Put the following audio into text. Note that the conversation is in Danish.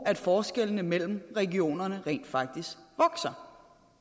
at forskellene mellem regionerne rent faktisk vokser